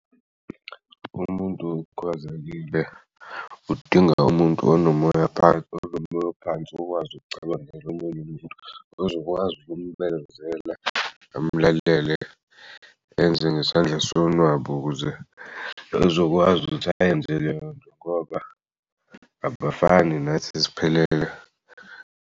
Umuntu okhubazekile udinga umuntu onomoya ophansi ukwazi ukucabangela omunye umuntu ozokwazi ukumbekezela amlalele enze ngesandla sonwabu ukuze ezokwazi ukuthi ayenze leyonto ngoba abafani nathi siphelele.